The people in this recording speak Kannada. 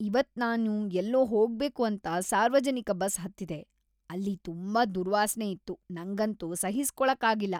ಇವತ್ ನಾನು ಎಲ್ಲೋ ಹೋಗ್ಬೇಕು ಅಂತ ಸಾರ್ವಜನಿಕ ಬಸ್ ಹತ್ತಿದೆ ಅಲ್ಲಿ ತುಂಬಾ ದುರ್ವಾಸನೆ ಇತ್ತು ನಂಗಂತೂ ಸಹಿಸ್ಕೊಳ್ಳಾಕ್ ಆಗಿಲ್ಲ.